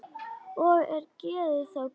Og er geðið þá komið.